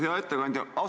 Hea ettekandja!